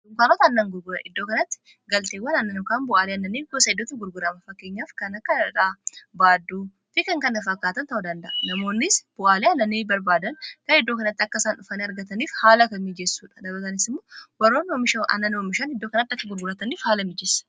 ukaanoota annan gurgura iddoo kanatti galteewwan annanukaan bu'aalii annannii gusa idoota gurguramafakkeenyaaf kana kanadhaa baadduu fi kan kana fakkaatan ta'u danda'a namoonnis bu'aalii anannii barbaadan kan iddoo kanatti akkaisaan dhufan argataniif haala ka miijessuudha dhabatanis immoo warroon annani momishaan iddoo kanatti akka gurgurataniif haala miijeessa